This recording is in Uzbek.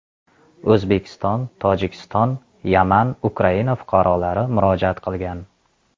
O‘zbekiston, Tojikiston, Yaman, Ukraina fuqarolari murojaat qilgan.